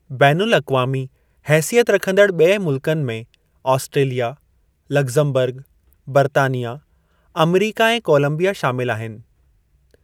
बैन अल-अक़वामी हेसियत रखंदड़ ॿिए मुल्कनि में आस्ट्रेलिया, लगज़मबरग, बर्तानिया, आमरीका ऐं कोलम्बिया शामिलु आहिनि।